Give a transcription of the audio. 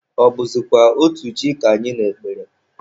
Ọ bụzịkwa otu chi ka anyị na-ekpere?